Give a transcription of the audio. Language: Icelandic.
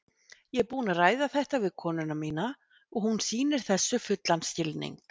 Ég er búinn að ræða þetta við konuna mína og hún sýnir þessu fullan skilning.